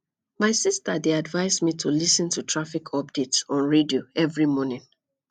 my sister dey advise me to lis ten to traffic updates on radio every morning